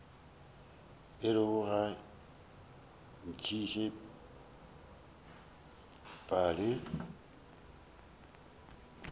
orego ga o ntšhe pale